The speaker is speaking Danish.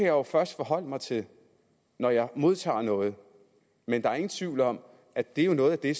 jo først forholde mig til når jeg modtager noget men der er ingen tvivl om at det jo er noget af det